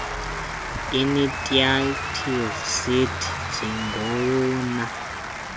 initiative citi njengowona